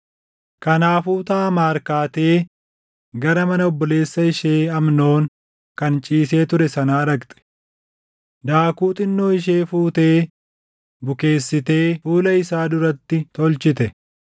Kanaafuu Taamaar kaatee gara mana obboleessa ishee Amnoon kan ciisee ture sanaa dhaqxe. Daakuu xinnoo ishee fuutee bukeessitee fuula isaa duratti tolchite.